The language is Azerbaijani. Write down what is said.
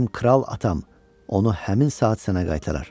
Mənim kral atam onu həmin saat sənə qaytarar."